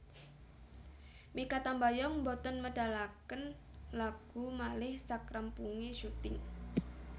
Mikha Tambayong mboten medalaken lagu malih sakrampunge syuting